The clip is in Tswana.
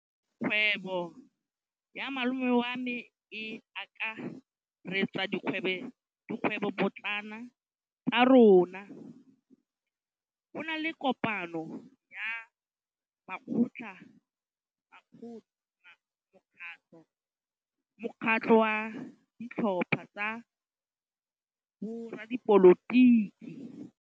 Kgwêbô ya malome wa me e akaretsa dikgwêbôpotlana tsa rona. Go na le kopanô ya mokgatlhô wa ditlhopha tsa boradipolotiki.